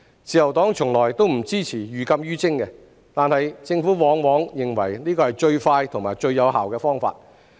自由黨從來不支持寓禁於徵，但政府往往認為這是最快和最有效的方法。